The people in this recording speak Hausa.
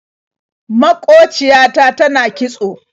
Maƙociya ta tana kitso.